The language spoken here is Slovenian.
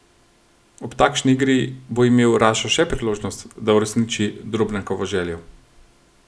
Ob takšni igri bo imel Rašo še priložnost, da uresniči Drobnjakovo željo.